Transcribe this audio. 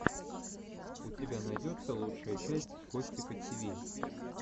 у тебя найдется лучшая часть костика тиви